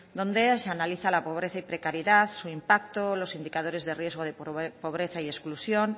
donde se analiza la pobreza y precariedad su impacto los indicadores de riesgo de pobreza y exclusión